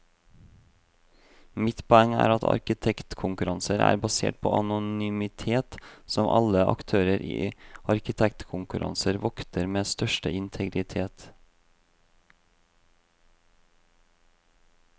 Mitt poeng er at arkitektkonkurranser er basert på anonymitet som alle aktører i arkitektkonkurranser vokter med største integritet.